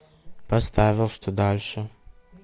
поставил что дальше